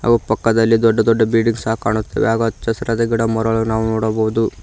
ಪಕ್ಕ್ ಪಕ್ಕದಲ್ಲಿ ದೊಡ್ಡ ದೊಡ್ಡ ಬಿಲ್ಡಿಂಗ್ ಸಹ ಕಾಣುತ್ತಿದೆ ಹಾಗೂ ಅಚ್ಚ ಹಸಿರಾದ ಗಿಡಮರಗಳನ್ನು ನಾವು ನೋಡಬಹುದು.